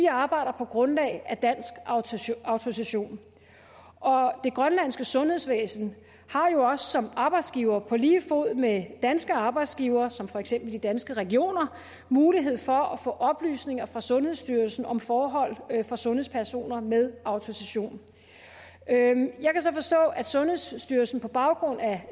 arbejder på grundlag af dansk autorisation og det grønlandske sundhedsvæsen har jo også som arbejdsgiver på lige fod med danske arbejdsgivere som for eksempel de danske regioner mulighed for at få oplysninger fra sundhedsstyrelsen om forhold for sundhedspersoner med autorisation jeg kan så forstå at sundhedsstyrelsen på baggrund af